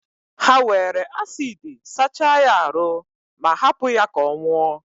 ha were acidi sachaa ya aru ma, hapụ ya ka ọ nwụọ.